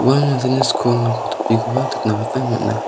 ua mandeni skoo topikoba nikna gita man·a.